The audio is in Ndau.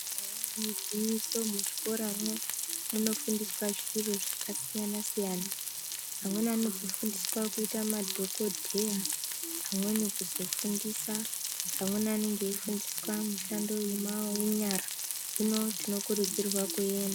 Eya igwinyiso muzvikoramwo munofundiswa zviro zvakasiyana-siyana. Amweni anozofundiswa kuita madhokodheya, amweni kuzofundisa. Amweni anonge eifundiswa mishando yema yenyara. Hino tinokurudzirwa kuenda .